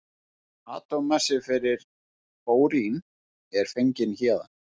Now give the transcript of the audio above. Atómmassi fyrir bórín er fenginn héðan.